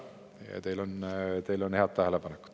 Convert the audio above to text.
Ja teil on head tähelepanekud.